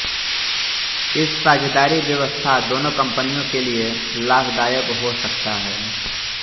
इस साझेदारी व्यवस्था दोनों कंपनियों के लिए लाभदायक हो सकता है